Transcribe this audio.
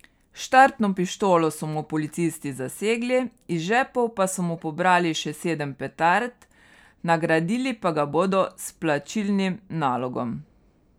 Štartno pištolo so mu policisti zasegli, iz žepov pa so mu pobrali še sedem petard, nagradili pa ga bodo s plačilnim nalogom.